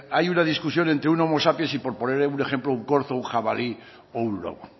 hay una discusión entre un homo sapiens y por poner un ejemplo un corzo o un jabalí o un lobo